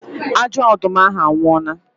Ajọ ọdụm ahụ anwụọla